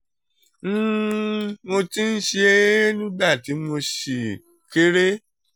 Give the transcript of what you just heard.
um mo ti ń ṣe é nígbà tí mo ṣì kéré